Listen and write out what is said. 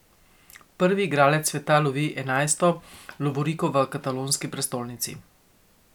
Prvi igralec sveta lovi enajsto lovoriko v katalonski prestolnici.